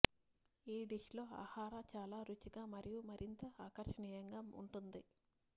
ఈ డిష్ లో ఆహార చాలా రుచిగా మరియు మరింత ఆకర్షణీయంగా ఉంటుంది